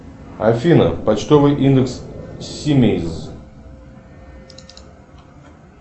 афина почтовый индекс симеиз